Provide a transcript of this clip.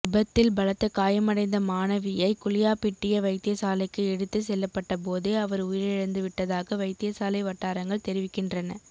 விபத்தில் பலத்த காயமடைந்த மாணவியை குளியாப்பிட்டிய வைத்தியசாலைக்கு எடுத்த செல்லப்பட்ட போதே அவர் உயிரிழந்து விட்டதாக வைத்தியசாலை வட்டாரங்கள் தெரிவிக்கின்றன